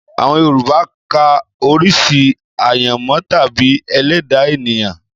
Àwọn Yorùbá ka orí sí àyànmọ́ tàbí ẹlẹ́dàá ènìyàn